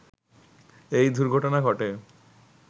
এই দূর্ঘটনা ঘটে